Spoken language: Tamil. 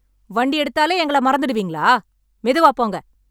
வண்டி எடுத்தாலே எங்கள மறந்துடுவீங்களா? மெதுவாப் போங்க.